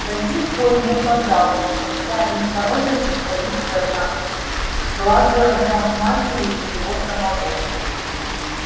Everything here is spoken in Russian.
до сих пор ему казалось что вся их порода состоит из одноглазого матери и его самого